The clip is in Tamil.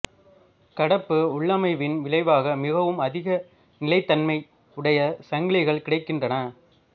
கடப்பு உள்ளமைவின் விளைவாக மிகவும் அதிக நிலைத்தன்மை உடைய சங்கிலிகள் கிடைக்கின்றன